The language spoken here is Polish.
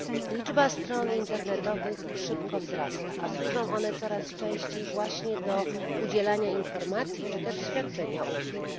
Liczba stron internetowych szybko wzrasta, a służą one coraz częściej właśnie do udzielania informacji czy też świadczenia usług.